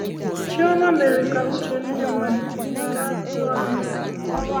Chioma mere ka uche ndị mmadụ ghara ịhụ anya.